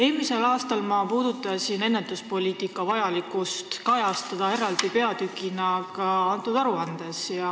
Eelmisel aastal puudutasin ma seda, et ennetuspoliitika vajalikkust võiks eraldi peatükina kajastada ka selles aruandes.